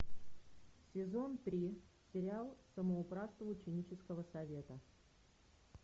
сезон три сериал самоуправство ученического совета